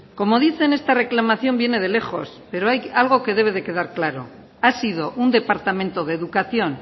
como dicen esta reclamación viene de lejos pero hay algo que debe de quedar claro ha sido un departamento de educación